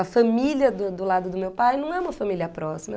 A família do do lado do meu pai não é uma família próxima.